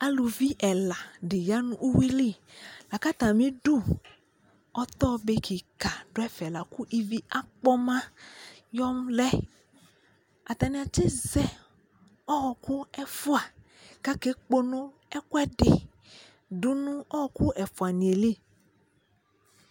Alʋvi ɛla di ya nʋ uwi lι la kʋ atami udu ɔtɔɔ di kika la kʋ ivi akpɔma yɔlɛ Atani atizɛ ɔɔkʋ ɛfua kʋ akekpono ɛkuɔɛdi dʋ nʋ ɔɔkʋ ɛfuani yɛ lι